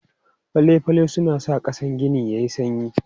Fale-fale suna sa ƙasan gini yayi sanyi.